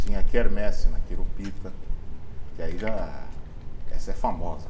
Tinha a quermesse na, que aí já essa é famosa.